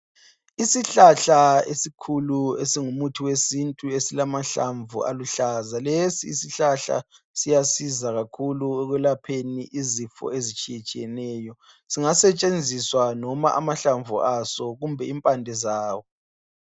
isihlahla esikhulu esingumuthi wesintu esilamahlamvu aluhlaza lesi isihlahla siyasiza kakhulu ekulapheni izifo ezitshiyetshiyeneyo singasetshenziswa noma amahlamvu aso kumbe imbande zawo